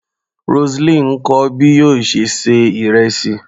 Roseline ń kọ́ bí yóò ṣe ṣe ìrẹsì.